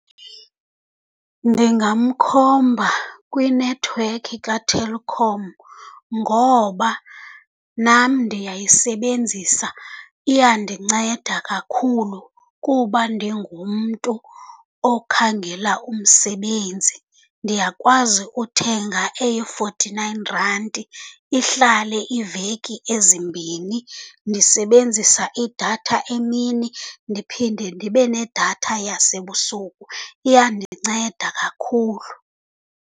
Ndingamkhomba kwinethiwekhi kaTelkom ngoba nam ndiyayisebenzisa, iyandinceda kakhulu kuba ndingumntu okhangela umsebenzi. Ndiyakwazi uthenga eye-forty-nine rand ihlale iiveki ezimbini. Ndisebenzisa idatha emini, ndiphinde ndibe nedatha yasebusuku, iyandinceda kakhulu.